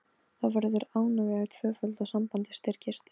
Þá verður ánægjan tvöföld og sambandið styrkist.